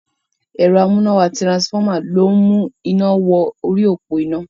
Ẹ̀rọ amúnáwá tirasifọ́mà ló ń mú iná wọ orí òpó iná.